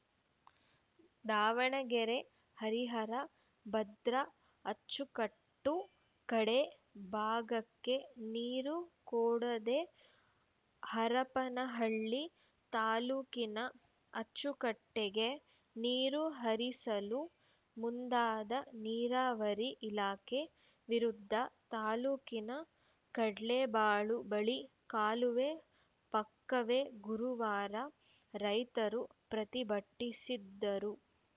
ದಾವಣಗೆರೆ ಹರಿಹರ ಭದ್ರಾ ಅಚ್ಚುಕಟ್ಟು ಕಡೇ ಭಾಗಕ್ಕೆ ನೀರು ಕೊಡದೇ ಹರಪನಹಳ್ಳಿ ತಾಲೂಕಿನ ಅಚ್ಚುಕಟ್ಟೆಗೆ ನೀರು ಹರಿಸಲು ಮುಂದಾದ ನೀರಾವರಿ ಇಲಾಖೆ ವಿರುದ್ಧ ತಾಲೂಕಿನ ಕಡ್ಲೇಬಾಳು ಬಳಿ ಕಾಲುವೆ ಪಕ್ಕವೇ ಗುರುವಾರ ರೈತರು ಪ್ರತಿಭಟ್ಟಿಸಿದರು